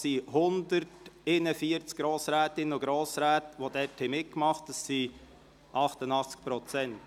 141 Grossrätinnen und Grossräte haben mitgemacht, also 88 Prozent.